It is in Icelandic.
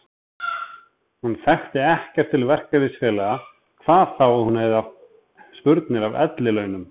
Hún þekkti ekkert til verkalýðsfélaga hvað þá að hún hefði haft spurnir af ellilaunum.